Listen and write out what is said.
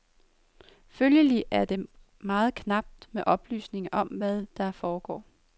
Følgelig er det meget knapt med oplysninger om, hvad der foregår.